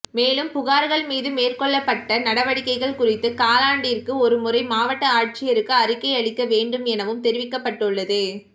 மேலும் புகார்கள் மீது மேற்கொள்ளப்பட்ட நடவடிக்கைகள் குறித்து காலாண்டிற்கு ஒருமுறை மாவட்ட ஆட்சியருக்கு அறிக்கை அளிக்க வேண்டும் எனவும் தெரிவிக்கப்பட்டுள்ளது